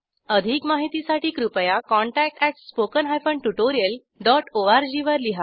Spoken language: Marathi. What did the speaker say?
अधिक माहितीसाठी कृपया contact at spoken hyphen tutorial dot org वर लिहा